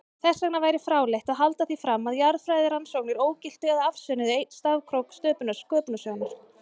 Þessvegna væri fráleitt að halda því fram að jarðfræðirannsóknir ógiltu eða afsönnuðu einn stafkrók sköpunarsögunnar.